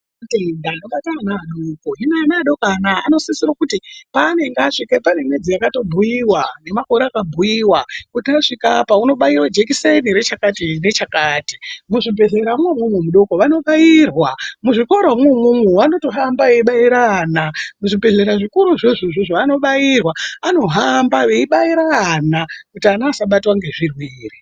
Kune matenda anobate ana adoko. Hino ana adoko ano anosisa kuti peanenge asvika pane mwedzi yakabhuyiwa, pane makore akabhuyiwa kuti asvika apa unobaiwa jekiseni rechakati nechakati. Muzvibhedhlera mwoumwomwo zvidoko vanobairwa, muzvikoro imomo vanotohamba veibaire ana. Muzvibhedhlera zvikuru zvoizvozvo vanobairwa, anohamba veibaira vana kuti ana asabatwa ngezvirwere.